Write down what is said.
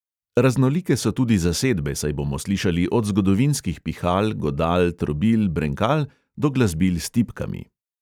Raznolike so tudi zasedbe, saj bomo slišali od zgodovinskih pihal, godal, trobil, brenkal do glasbil s tipkami.